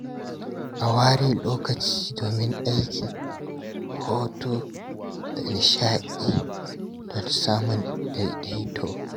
A ware lokaci domin aiki, hutu, da nishaɗi don samun daidaito.